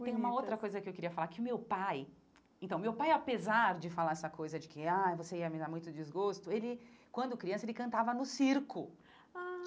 E tem uma outra coisa que eu queria falar, que o meu pai... Então, o meu pai, apesar de falar essa coisa de que, ai, você ia me dar muito desgosto, ele, quando criança, ele cantava no circo. Ah